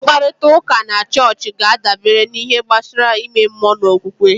Mkparịta ụka na chọọchị ga-adabere n'ihe gbasara ime mmụọ na okwukwe